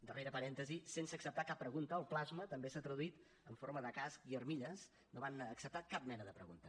darrer parèntesi sense acceptar cap pregunta el plasma també s’ha traduït en forma de casc i armilles no van acceptar cap mena de pregunta